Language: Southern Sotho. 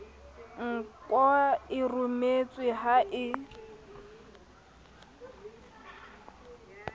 nkwa e rometswe ha e